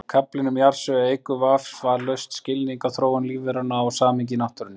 Kaflinn um jarðsögu eykur vafalaust skilning á þróun lífveranna og samhengi í náttúrunni.